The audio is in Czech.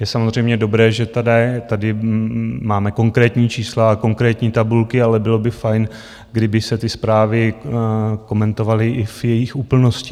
Je samozřejmě dobré, že tady máme konkrétní čísla a konkrétní tabulky, ale bylo by fajn, kdyby se ty zprávy komentovaly i v jejich úplnosti.